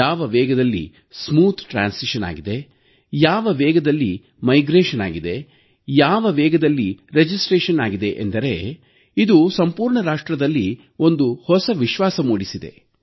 ಯಾವ ವೇಗದಲ್ಲಿ ಸುಗಮ ವರ್ಗಾವಣೆ ಆಗಿದೆ ಯಾವ ವೇಗದಲ್ಲಿ ಸ್ಥಳಾಂತರ ಆಗಿದೆ ಯಾವ ವೇಗದಲ್ಲಿ ನೋಂದಣಿ ಆಗಿದೆ ಅಂದರೆ ಇದು ಸಂಪೂರ್ಣ ರಾಷ್ಟ್ರದಲ್ಲಿ ಒಂದು ಹೊಸ ವಿಶ್ವಾಸ ಮೂಡಿಸಿದೆ